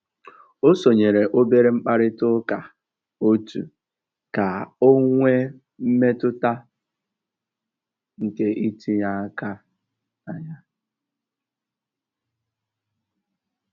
Ó sónyéré óbérè mkpàrị́tà ụ́ká ótù kà ọ́ nwée mmétụ́tà nkè ítínyé áká nà yá.